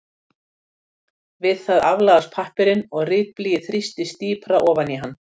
við það aflagast pappírinn og ritblýið þrýstist dýpra ofan í hann